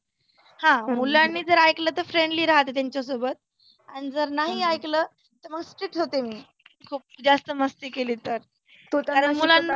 हं मुलांनी जर ऐकल तर friendly राहते त्यांच्या सोबत आन जर नाही ऐकल तर मग strickt होते मी. खुप जास्त मस्ती केली तर. कारण मुलांना